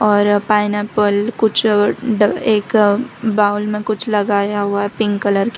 और पाइनएप्पल कुछ एक बाउल में कुछ लगाया हुआ है पिंक कलर के।